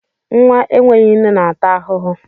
Nwa enweghị nne na-ata ahụhụ.